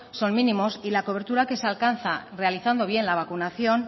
son mínimos y la cobertura que se alcanza realizando bien la vacunación